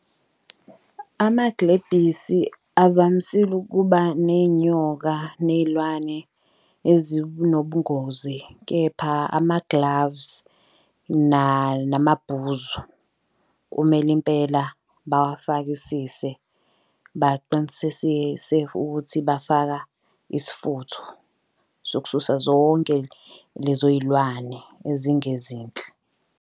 Amagilebhisi avamisile ukuba ney'nyoka ney'lwane ezinobungozi, kepha ama-gloves namabhuzu kumele impela bawafakisise. Baqinisekise ukuthi bafaka isifutho sokususa zonke lezoy'lwane ezingezinhle.